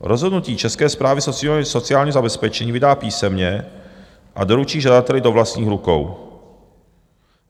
Rozhodnutí Česká správa sociálního zabezpečení vydá písemně a doručí žadateli do vlastních rukou.